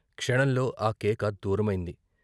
క్షణంలో ఆ కేక దూరమైంది.